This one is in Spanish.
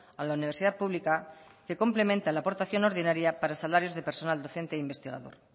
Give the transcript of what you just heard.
a la universidad pública que completa la aportación ordinaria para salarios de personal docente e investigador